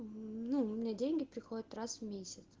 ну у меня деньги приходят раз в месяц